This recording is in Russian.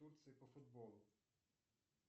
по футболу